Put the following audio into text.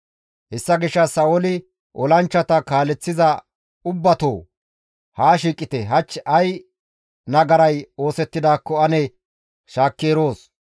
Hessa gishshas Sa7ooli, «Olanchchata kaaleththiza ubbatoo, haa shiiqite; hach ay nagaray oosettidaakko ane shaakki eroos.